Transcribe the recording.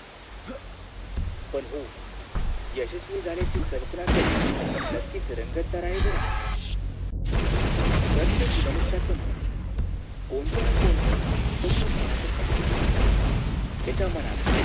पण हो यशस्वी झाल्याची कल्पना करण नक्कीच रंगतदार आहे बरं प्रत्येक मनुष्याचं मन कोणत ना कोणत स्वप्न पाहतच असत त्याच्या मनात